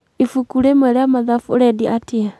ibuku rĩmwe rĩa mathabu ũrendia atĩa?